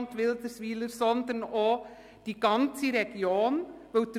Wenn Ihnen das zu nahe ist, können Sie auch den Seitenausgang wählen.